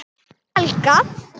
Og Helga.